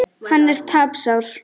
Hann er tapsár.